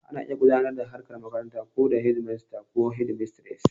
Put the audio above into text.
Ana iya gudanar da harkar makaranta ko da shedimasta ko shedimistres